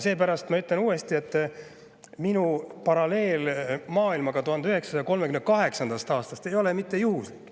Seepärast ma ütlen uuesti, et minu paralleel maailmaga 1938. aastast ei ole mitte juhuslik.